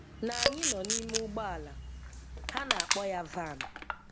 na anyị nọ n'ime ụgbọala, ha na-akpọ ya van,